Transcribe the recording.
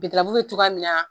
bɛ cogoya min na